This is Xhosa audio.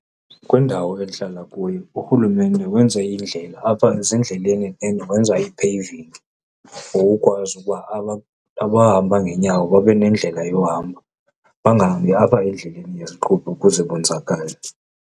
Kwindawo endihlala kuyo urhulumente wenze indlela apha ezindleleni then wenza i-paving for ukwazi ukuba abahamba ngeenyawo babe nendlela yohamba bangahambi apha endleleni yeziqhubi ukuze bonzakale.